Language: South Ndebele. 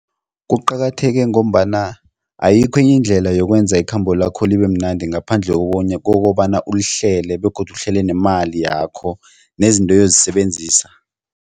Kuqakatheke ngombana ayikho enye indlela yokwenza ikhambo lakho libemnandi ngaphandle kokobana ulihlele begodu uhlele nemali yakho, nezinto oyozisebenzisa.